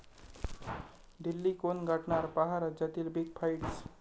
दिल्ली कोण गाठणार? पाहा राज्यातील बिग फाईट्स